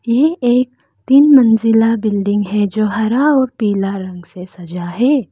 यह एक तीन मंजिला बिल्डिंग है जो हरा और पीला रंग से सजा है।